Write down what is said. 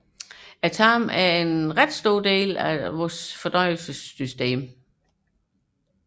Tarmen er en stor del af menneskets fordøjelsessystem